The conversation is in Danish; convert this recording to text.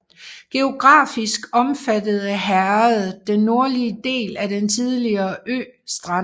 Geografisk omfattede herredet den nordlige del af den tidligere ø Strand